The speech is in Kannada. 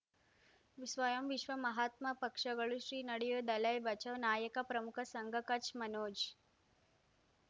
ಸ್ವಯಂ ವಿಶ್ವ ಮಹಾತ್ಮ ಪಕ್ಷಗಳು ಶ್ರೀ ನಡೆಯೂ ದಲೈ ಬಚೌ ನಾಯಕ ಪ್ರಮುಖ ಸಂಘ ಕಚ್ ಮನೋಜ್